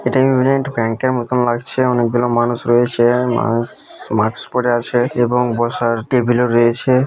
এটা United Bank এর মতোন লাগছে অনেকগুলা মানুষ রয়েছে মাস মাস্ক পরে আছেন এবং বসার টেবিল ও রয়েছে।